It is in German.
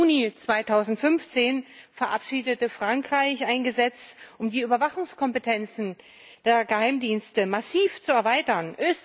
Ebenfalls im Juni 2015 verabschiedete Frankreich ein Gesetz, um die Überwachungskompetenzen der Geheimdienste massiv zu erweitern.